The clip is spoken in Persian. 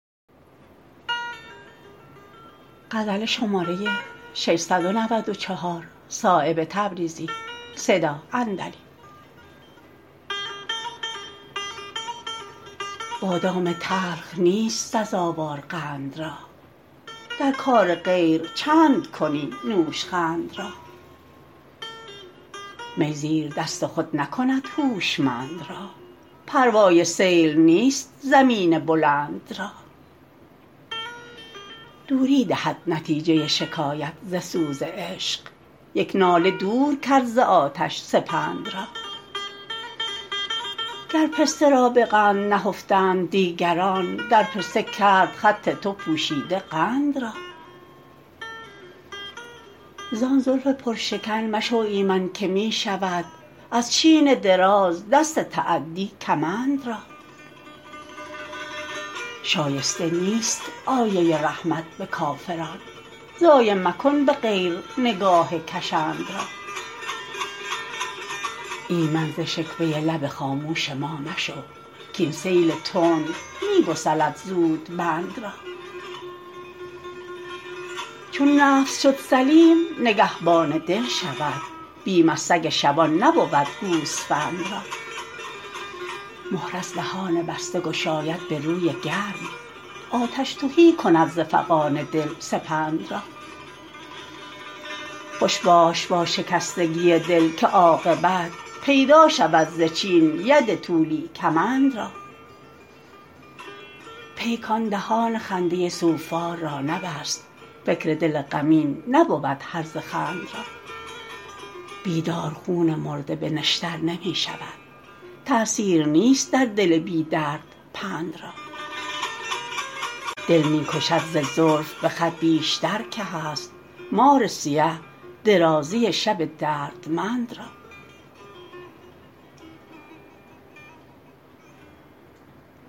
بادام تلخ نیست سزاوار قند را در کار غیر چند کنی نوشخند را می زیردست خود نکند هوشمند را پروای سیل نیست زمین بلند را دوری دهد نتیجه شکایت ز سوز عشق یک ناله دور کرد ز آتش سپند را گر پسته را به قند نهفتند دیگران در پسته کرد خط تو پوشیده قند را زان زلف پر شکن مشو ایمن که می شود از چین دراز دست تعدی کمند را شایسته نیست آیه رحمت به کافران ضایع مکن به غیر نگاه کشند را ایمن ز شکوه لب خاموش ما مشو کاین سیل تند می گسلد زود بند را چون نفس شد سلیم نگهبان دل شود بیم از سگ شبان نبود گوسفند را مهر از دهان بسته گشاید به روی گرم آتش تهی کند ز فغان دل سپند را خوش باش با شکستگی دل که عاقبت پیدا شود ز چین ید طولی کمند را پیکان دهان خنده سوفار را نبست فکر دل غمین نبود هرزه خند را بیدار خون مرده به نشتر نمی شود تأثیر نیست در دل بی درد پند را دل می کشد ز زلف به خط بیشتر که هست مار سیه درازی شب دردمند را